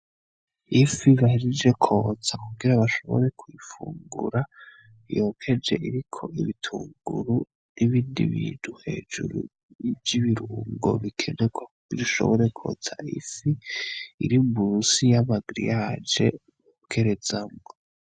Ifi bahejeje kwotsa kugira bashobore kuyifungura yokeje iriko ibitunguru n'ibindi bintu hejuru vy'ibirungo bikenerwa kugira bishobore kuzana ifi iri musi y'amagiriyaje bokerezamwo.